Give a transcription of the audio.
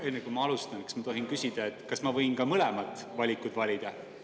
Enne, kui ma alustan, kas ma tohin küsida, kas ma võin ka mõlemad valikud valida?